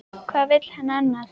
Hvað vill hann annað?